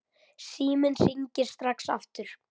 Síminn hringir strax aftur.